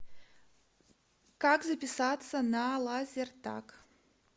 как записаться на лазертаг